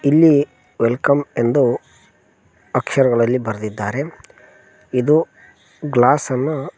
ಇಲ್ಲಿ welcome ಎಂದು ಅಕ್ಷರಗಳಲ್ಲಿ ಬರದಿದ್ದಾರೆ ಇದು ಗ್ಲಾಸ ನ್ನ--